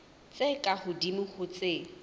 tse ka hodimo ho tse